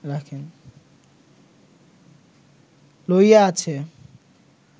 লইয়া আছে